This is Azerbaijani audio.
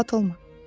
Narahat olma.